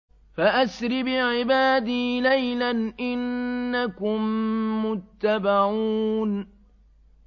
فَأَسْرِ بِعِبَادِي لَيْلًا إِنَّكُم مُّتَّبَعُونَ